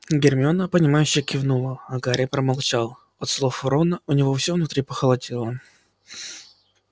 гермиона понимающе кивнула а гарри промолчал от слов рона у него всё внутри похолодело